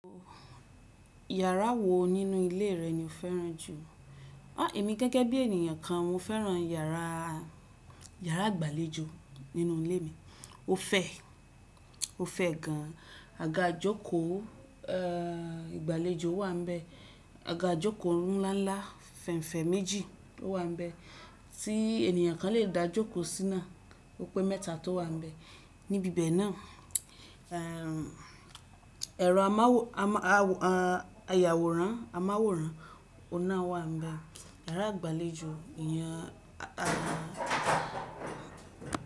Yàrá wo nínú ilé rẹ ni o fẹ́ràn jù? Emi gẹ́gẹ́ bí ènìyàn kan, mo fẹ́ràn yàrá, yàrá ìgbàlejò nínú ilé mi. Ó fẹ̀, ó fẹ̀ gan. Àga ìjókòó, eeh, ìgbàlejò wà nbẹ̀. Àga ìjókòó ọ̀run ńlá ńlá fẹ̀nfẹ̀ méjì o wà n bẹ̀ tí ènìyàn kan lè dá jókòó sína. Ó pé mẹ́ta tó wà níbẹ̀. Níbi bẹ̀ náà, ehm, ẹ̀rọ amáwòran-- ayàwòrán, amáwòrán ọ̀hun nà wà n bẹ̀. Yàrá ìgbàlejò èèyàn àà.